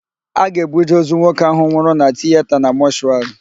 A ga-ebuje ozu nwoke ahụ nwụrụ na tiyeta na mọshụarị.